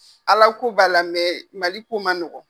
Alako b'a la MALI ko ma nɔgɔn.